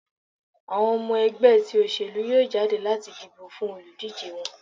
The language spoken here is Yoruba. awọn ọmọ ẹgbẹ ti oselú yọọ jadé lati dibo fún olúdije wọn.